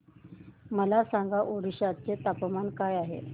मला सांगा ओडिशा चे तापमान काय आहे